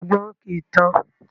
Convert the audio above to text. Ọgbọ́n kii tán